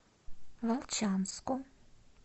волчанску